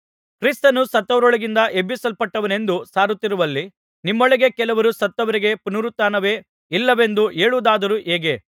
ಕ್ರಿಸ್ತನು ಸತ್ತವರೊಳಗಿಂದ ಎಬ್ಬಿಸಲ್ಪಟ್ಟನೆಂದು ಸಾರುತ್ತಿರುವಲ್ಲಿ ನಿಮ್ಮೊಳಗೆ ಕೆಲವರು ಸತ್ತವರಿಗೆ ಪುನರುತ್ಥಾನವೇ ಇಲ್ಲವೆಂದು ಹೇಳುವುದಾದರೂ ಹೇಗೆ